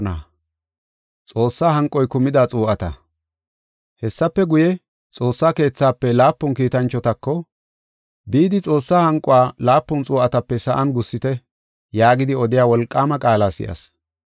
Hessafe guye, Xoossa keethafe laapun kiitanchotako, “Bidi Xoossaa hanquwa laapun xuu7atape sa7an gussite” yaagidi, odiya wolqaama qaala si7as.